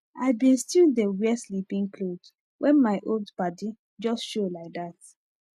i been still dey wear sleepin cloth wen my old padi jus show laidat